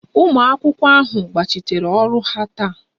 Ụmụ akwụkwọ ahụ gbachiteere ọrụ ha taa